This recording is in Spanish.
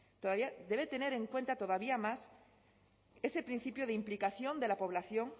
todavía debe tener en cuenta todavía más ese principio de implicación de la población